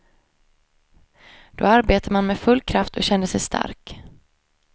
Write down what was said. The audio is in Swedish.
Då arbetade man med full kraft och kände sig stark.